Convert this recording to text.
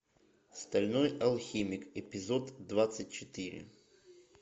стальной алхимик эпизод двадцать четыре